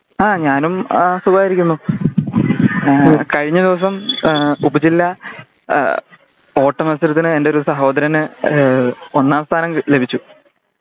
ആ ഞാനും ആ സുഖായിരിക്കുന്നു കഴിഞ്ഞ ദിവസം ഉപജില്ലാ ഓട്ടമത്സരത്തിന് എന്റെ ഒരു സഹോദരന് ഒന്നാം സ്ഥാനം ലഭിച്ചു